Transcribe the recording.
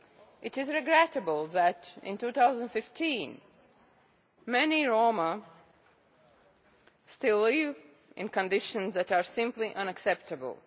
It is regrettable that in 2015 many Roma still live in conditions that are simply unacceptable.